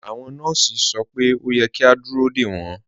Awọn nọọsì sọ pé o yẹ̀ kí a dúró de wọn.